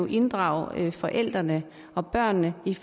inddrage forældrene og børnene i